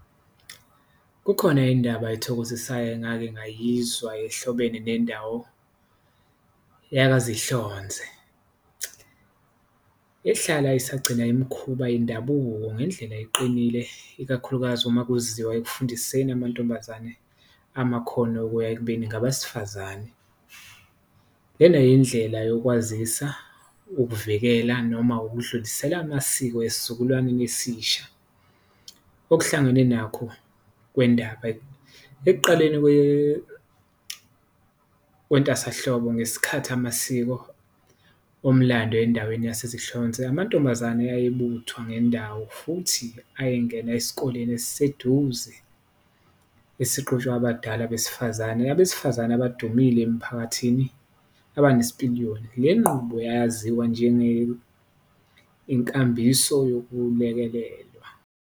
Kukhona indaba ethokozisayo engake ngayizwa ehlobene nendawo yakaZihlonze ehlala isagcina imikhuba yendabuko ngendlela eqinile, ikakhulukazi uma kuziwa ekufundiseni amantombazane amakhono okuya ekubeni ngabesifazane. Lena yindlela yokwazisa, ukuvikela noma ukudlulisela amasiko esizukulwaneni esisha okuhlangene nakho kwendaba, ekuqaleni kwentasahlobo ngesikhathi amasiko omlando endaweni yaseZinhlonze. Amantombazane ayebuthwa ngendawo futhi ayengena esikoleni esiseduze esiqhutshwa abadala besifazane, abesifazane abadumile emiphakathini abanesipiliyoni, le nqubo yayaziwa njenge inkambiso yokulekelelwa.